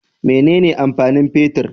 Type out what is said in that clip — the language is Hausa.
Mene ne amfani fetir?